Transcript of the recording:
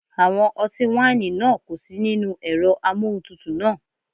Àwọn ọtí wáìnì náà kò sí nínú ẹ̀rọ amóhuntutù náà.